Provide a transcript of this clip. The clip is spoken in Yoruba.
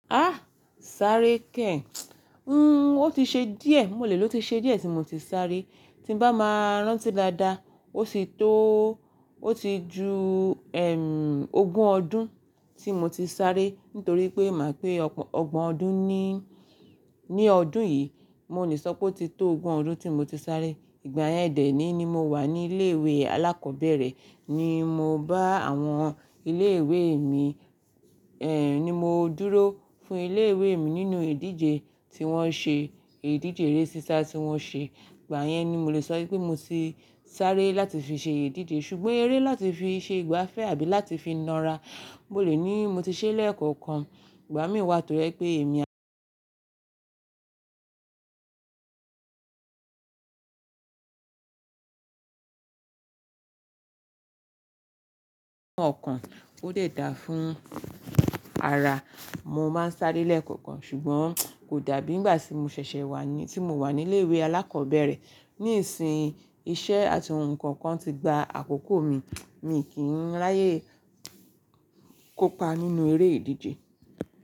Á, sáré kẹ́ẹ̀. Nn, ó ti ṣe díẹ̀, mo lè ló ti ṣe díẹ̀ tí mo ti sáré. Tí n bá máa rántí dáadáa, ó ti tó, ó ti ju ẹm, ogún ọdún tí mo ti sáré, nítorí pé màá pé ọgbọ̀n ọdún ní, ní ọdún yìí. Mo leí sọ pé ó ti tó ogún ọdún tí mo ti sáré. Ìgbà yẹn dẹ̀ ní ni mo wà ní ilé ìwé alákọ̀ọ́bẹ̀rẹ̀ ni mo bá àwọn ilé ìwé mi, ẹm, ni mo dúró fún ilé ìwé mi nínú ìdíje tí wọ́n ṣe, ìdíje eré sísá tí wọ́n ṣe. Ìgbà yẹn ni mo lè sọ wípé mo ti sáré láti fi ṣe ìdíje. Ṣùgbọ́n eré láti fi ṣe ìgbafẹ́ àbí láti fi na ra, mo lè ní mo ti ṣẹ́ lẹ̀ekookan. Ìgbà míi wá toje pé èmi ọ̀kan ó lè dáa fún ara. Mo máa ń sáré lẹ́ẹ̀kọ̀kan ṣùgbọ́n kò dàbí ìgbà tí mo ṣẹ̀ṣẹ̀ wà ní, tí mo wà ní ilé ìwé alákọ̀ọ́bẹ̀rẹ̀. Níisiyin iṣẹ́ àti ohun kookan ti gba àkókò mi, mii kì n ráyè kópa nínú eré ìdíje.